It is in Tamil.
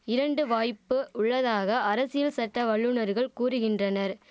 இரண்டு வாய்ப்பு உள்ளதாக அரசியல் சட்ட வல்லுனர்கள் கூறுகின்றனர்